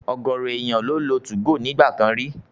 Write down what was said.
Ọ̀gọ̀rọ̀ èèyàn ló lo 2go ní ìgbà kan rí